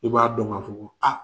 I b'a dɔn ka fɔ ko aa.